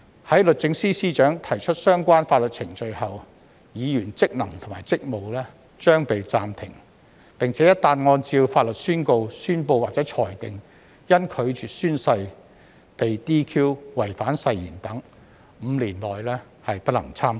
在律政司司長提出相關法律程序後，議員職能和職務將被暫停，而且一旦按照法律宣告、宣布或裁定因拒絕宣誓被 "DQ"、違反誓言等 ，5 年內不能參選。